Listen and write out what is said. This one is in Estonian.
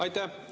Aitäh!